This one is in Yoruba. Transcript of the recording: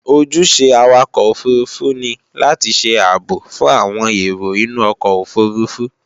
Ojúṣe Awakọ̀ òfurufú ni láti ṣe ààbò fún àwọn èrò inú ọkọ̀ òfurufú